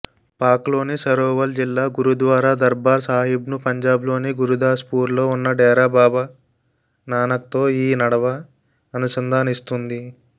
పాక్లోని సరోవల్ జిల్లా గురుద్వారా దర్బార్ సాహిబ్ను పంజాబ్లోని గురుదాస్పూర్లో ఉన్న డేరా బాబా నానక్తో ఈ నడవా అనుసంధానిస్తుంది